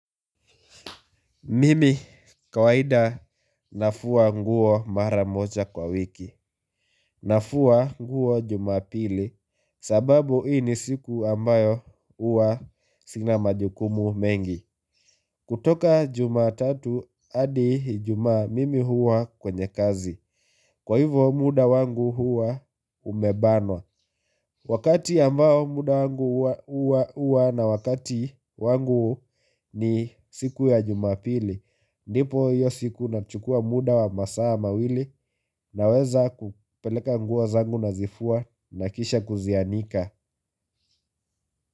Mimi kawaida nafua nguo mara moja kwa wiki. Nafua nguo jumapili sababu hii ni siku ambayo huwa sina majukumu mengi. Kutoka jumatatu hadi ijumaa mimi huwa kwenye kazi. Kwa hivyo muda wangu huwa umebanwa. Wakati ambao muda wangu huwa na wakati wangu ni siku ya jumapili. Ndipo hiyo siku nachukua muda wa masaa mawili naweza kupeleka nguo zangu nazifua na kisha kuzianika.